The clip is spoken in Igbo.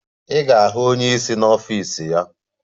Ị ga-ahụ onye isi n'ọfịs ya.